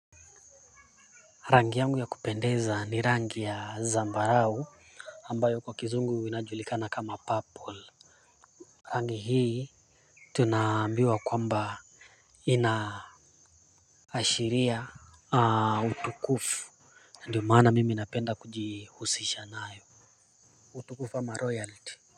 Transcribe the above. Rangi yangu ya kupendeza ni rangi ya zambarau ambayo kwa kizungu inajulikana kama purple rangi hii tunaambiwa kwamba ashiria utukufu ndio maana mimi napenda kujihusisha nayo utukufu ama royalty.